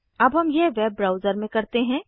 अब हम यह वेब ब्राउज़र में करते हैं